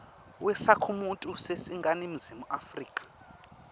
wesakhamuti saseningizimu afrika